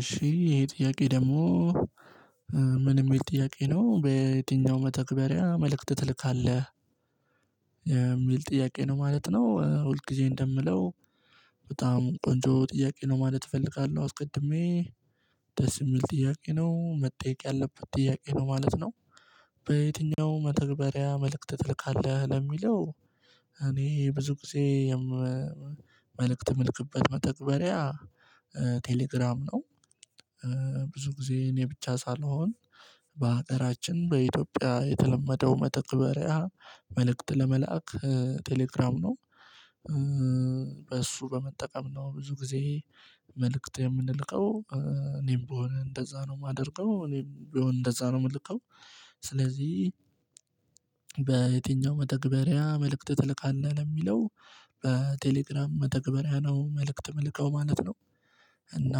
እሺ ይሄ ጥያቄ ደግሞ ምን የሚል ጥያቄ ነው በየትኛውም መተግበሪያ መልእክት ትልካለህ? የሚል ጥያቄ ነው ማለት ነው ሁል ጊዜ እንደምለው በጣም ቆንጆ ጥያቄ ነው ማለት እፈልጋለሁ አስቀድሜ ደስ የሚል ጥያቄ ነው መጠየቅ ያለበት ጥያቄ ነው ማለት ነው። በየትኛውም መተግበሪያ መልእክት ትልካለህ ለሚለው እኔ ብዙ ጊዜ መልእክት የምልክበት መተግበሪያ ቴሌግራም ነው፤ ብዙ ጊዜ እኔ ብቻ ሳልሆን በሀገራችን በኢትዮጵያ የተለመደው መተግበሪያ መልእክት ለመላክ ቴሌግራም ነው፤ በእሱ በመጠቀም ነው ብዙ ጊዜ መልእክት የምንልከው እኔም ብሆን እንደዛ ነው የማደርገው እኔም ቢሆን እንደዛ ነው የምልከው። ስለዚህ በየትኛውም መደግበሪያ መልእክት ትልካለህ ለሚለው በቴሌግራም መተግበሪያ ነው መልእክት የምልከው ማለት ነው። እና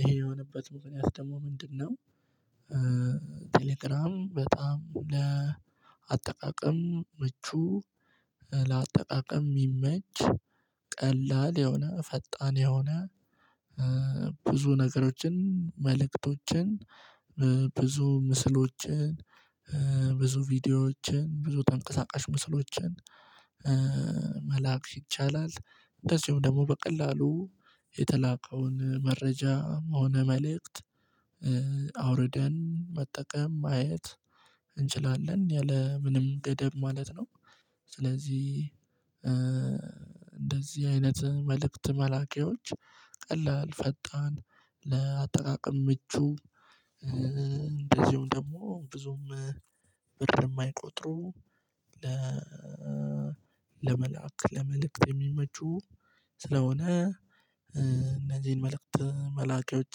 ይሄ የሆነበት ምክነያት ደግሞ ምንድነው? ቴሌግራም በጣም ለአጠቃቀም ምቹ ለአጠቃቀም የሚመች ቀላል የሆነ ፈጣን የሆነ ብዙ ነገሮችን መልእክቶችን ብዙ ምስሎችን ብዙ ቪዲዮዎችን ብዙ ተንቀሳቃሽ ምስሎችን መላክ ይቻላል። እንደዚሁም ደግሞ በቀላሉ የተላከውን መረጃም ሆነ መልእክት አውርደን መጠቀም ማየት እንችላለን ያለምንም ገደብ ማለት ነው፤ ስለዚህ እንደዚህ አይነት መልእክት መላኪዎች ቀላል ፈጣን ለአጠቃቀም ምቹ እንደዚሁም ደግሞ ብዙም ብር የማይቆጥሩ፤ ለመላክ ለመልእክት የሚመቹ ስለሆነ እነዚህን መልእክት መላኪያዎች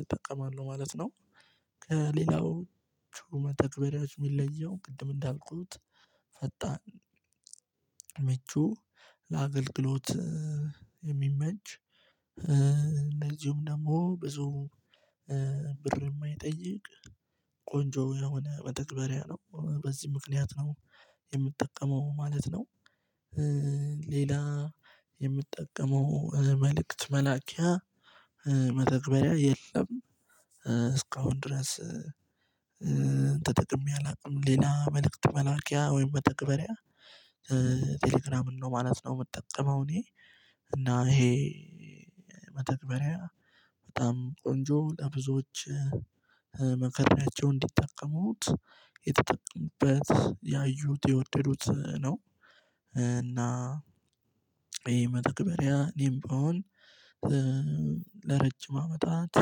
እጠቀማለሁ ማለት ነው። ከሌላዎቹ መተግባሪዎች የሚለየው ቅድም እንዳልኩት ፈጣን ምቹ ለአገልግሎት የሚመች እንደዚሁም ደግሞ ብዙ ብር የማይጠይቅ ቆንጆ የሆነ መተግበሪያ ነው በዚህ ምክንያት ነው የምጠቀመው ማለት ነው። ሌላ የምጠቀመው መልእክት መላኪያ መተግበሪያ የለም። እስካሁን ድረስ ተጠቅሜ አላውቅም ሌላ መልእክት መላኪያ ወይም መተግበሪያ ቴሌግራምን ነው ማለት ነው የምጠቀመው እኔ። እና ይሄ መተግባሪያ በጣም ቆንጆ ለብዙዎች መከሬአቸው እንዲጠቀሙት የተጠቀሙበት ያዩት የወደዱት ነው። እና ይሄ መተግበሪያ እኔም ብሆን አመታት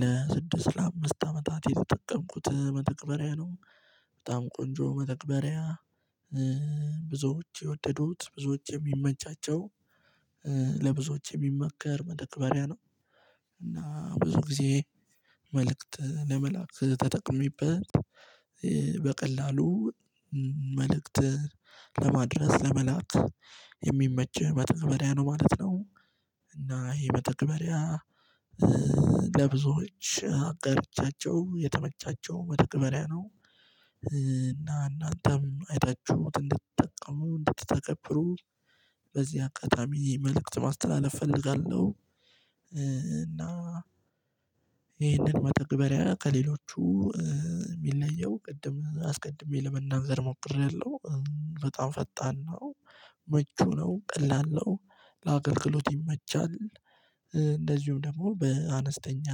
ለስድስት ለአምስት አመታት የተጠቀምኩት መተግበሪያ ነው በጣም ቆንጆ መተግበሪያ ብዙዎች የወደዱት ብዙዎች የሚመቻቸው ለብዙዎች የሚመከር መደክበሪያ ነው። እና ብዙ ጊዜ መልእክት ለመላክ ተጠቅሜበት በቀላሉ መልእክት ለማድረስ ለመላክ የሚመች መተግበሪያ ነው ማለት ነው። እና ይሄ መተግበሪያ ለብዙዎች አጋርቻቸው የተመቻቸው መተግበሪያ ነው። እና እናንተም አይታችሁ እንድትጠቀሙ እንድትተገብሩ በዚህ አጋጣሚ መልእክት ማስተላለፍ እፈልጋለሁ። እና ይህንን መተግበሪያ ከሌሎቹ የሚለየው ቅድም አስቀድሜ ለመናገር ሞክሬያለሁ በጣም ፈጣን ነው ምቹ ነው ቀላል ነው ለአገልግሎት ይመቻል። እንደዚሁም ደግሞ በአነስተኛ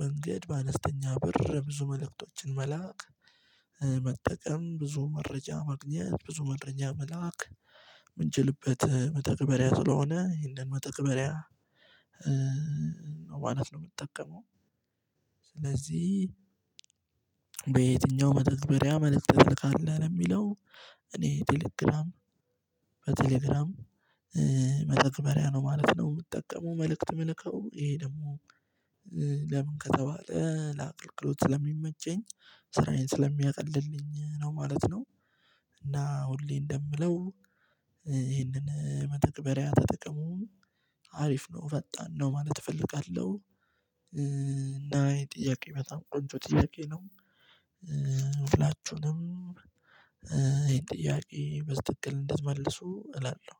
መንገድ በአነስተኛ ብር ብዙ መልእክቶችን መላክ መጠቀም ብዙ መረጃ ማግኘት ብዙ መረጃ መላክ የምንችልበት መተግበሪያ ስለሆነ ይሄንን መተግበሪያ ማለት ነው የምጠቀመው። ስለዚህ በየትኛው መተግበሪያ መልክእት ትልካለህ የሚለው እኔ ቴሌግራም በቴሌግራም መተግበሪያ ነው ማለት ነው የምትጠቀመው መልእክት የምልካው፤ ይሄ ደግሞ ለምን ከተባለ ለአገልግሎት ስለሚመቸኝ ስራዬን ስለሚያቀልልኝ ነው ማለት ነው። እና ሁሌ እንደምለው ይህንን መተግበሪያ ተጠቅሞ አሪፍ ነው ፈጣን ነው ማለት እፈልጋለሁ፤ እና ይሄ ጥያቄ በጣም ቆንጆ ጥያቄ ነው ሁላችሁንም ይሄን ጥያቄ በትክክል እንድትመልሱ እላለሁ